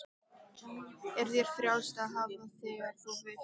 Er þér frjálst að fara þegar þú vilt?